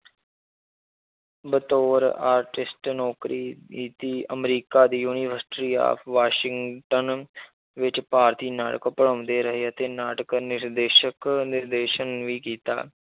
ਬਤੌਰ artist ਨੌਕਰੀ ਕੀਤੀ, ਅਮਰੀਕਾ ਦੀ university of ਵਾਸਿੰਗਟਨ ਵਿੱਚ ਭਾਰਤੀ ਨਾਇਕ ਪੜ੍ਹਾਉਂਦੇ ਰਹੇ ਅਤੇ ਨਾਟਕ ਨਿਰਦੇਸ਼ਕ ਨਿਰਦੇਸ਼ਨ ਵੀ ਕੀਤਾ।